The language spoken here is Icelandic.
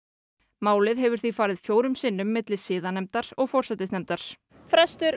málið hefur því farið fjórum sinnum á milli siðanefndar og forsætisnefndar frestur